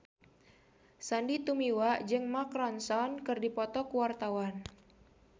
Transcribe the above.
Sandy Tumiwa jeung Mark Ronson keur dipoto ku wartawan